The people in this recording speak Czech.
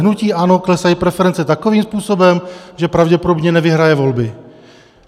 Hnutí ANO klesají preference takovým způsobem, že pravděpodobně nevyhraje volby.